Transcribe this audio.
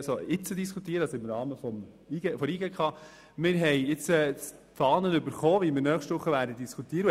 In der Zwischenzeit haben wir die Fahne zur Führung der Diskussion von nächster Woche erhalten.